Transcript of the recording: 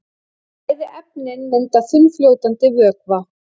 Bæði efnin mynda þunnfljótandi vökva.